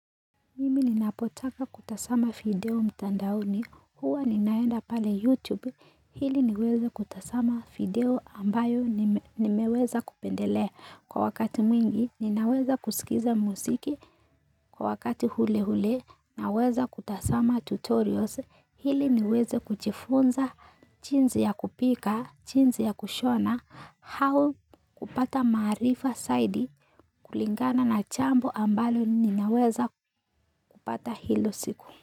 Mimi ninapotaka kutazama video mtandaoni, huwa ninaenda pale YouTube, ili niweza kutazama video ambayo nimeweza kupendelea. Kwa wakati mwingi, ninaweza kusikiza muziki, kwa wakati ule ule, naweza kutazama tutorials, ili niweze kujifunza, jinsi ya kupika, jinsi ya kushona au kupata maarifa zaidi kulingana na jambo ambalo ninaweza kupata hilo siku.